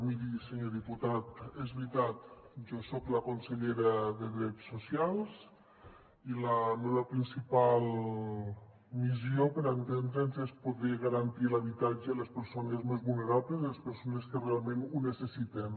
miri senyor diputat és veritat jo soc la consellera de drets socials i la meva principal missió per entendre’ns és poder garantir l’habitatge a les persones més vulnerables les persones que realment ho necessiten